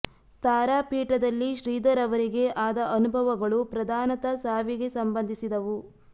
ತಾರಾಪೀಠದಲ್ಲಿ ಶ್ರೀಧರ್ ಅವರಿಗೆ ಆದ ಅನುಭವಗಳು ಪ್ರಧಾನತಃ ಸಾವಿಗೆ ಸಂಬಂಧಿಸಿ ದವು